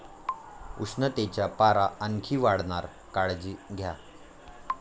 उष्णतेचा पारा आणखी वाढणार, काळजी घ्या!